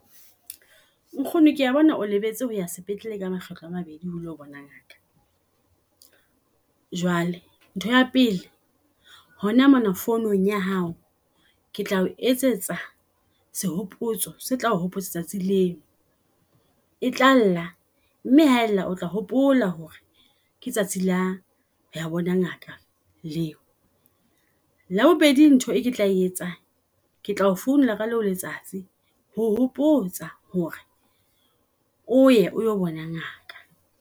Nkgono kea bona o lebetse ho ya sepetlele ka makgetlo a mabedi ho lo bona ngaka. Jwale, ntho ya pele hona mona founung ya hao ke tlao etsetsa sehopotso se tla o hopotsa tsatsi leo. E tlalla mme haella o tla hopola hore ke tsatsi la ho ya bona ngaka leo. Ya bobedi ntho e ke tla etsang ke tlao founela ka leo letsatsi ho hopotsa hore o ye olo bona ngaka.